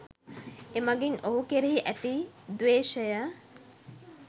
එමගින් ඔහු කෙරෙහි ඇති ද්වේශය